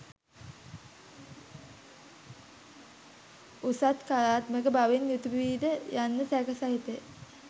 උසස් කලාත්මක බවින් යුතු වීද යන්න සැක සහිතය.